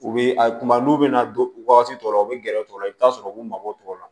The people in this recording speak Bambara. U bɛ a kuma n'u bɛna don wagati dɔ la u bɛ gɛrɛ u la i bɛ taa sɔrɔ u b'u mago tɔw la